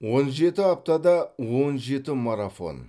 он жеті аптада он жеті марафон